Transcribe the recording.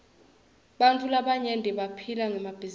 bantfu labaryenti baphila ngemabhizinisi